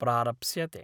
प्रारप्स्यते।